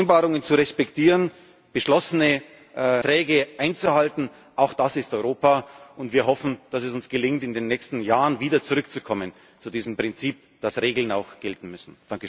Vereinbarungen zu respektieren, beschlossene Verträge einzuhalten Auch das ist Europa. Wir hoffen, dass es uns gelingt, in den nächsten Jahren wieder zurückzukommen zu diesem Prinzip, dass Regeln auch gelten müssen.